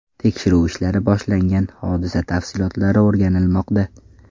Tekshiruv ishlari boshlangan, hodisa tafsilotlari o‘rganilmoqda.